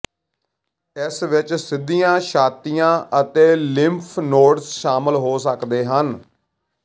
ਇਸ ਵਿੱਚ ਸਿੱਧੀਆਂ ਛਾਤੀਆਂ ਅਤੇ ਲਿੰਫ ਨੋਡਸ ਸ਼ਾਮਲ ਹੋ ਸਕਦੇ ਹਨ